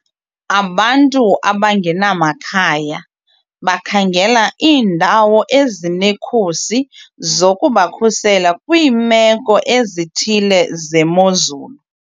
Abantu abangenamakhaya bakhangela iindawo ezinekhusi zokubakhusela kwiimeko ezithile zemozulu.